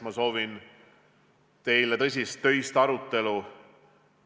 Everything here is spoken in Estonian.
Ma soovin teile tõsist ja töist arutelu.